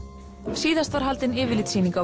síðast var haldin yfirlitssýning á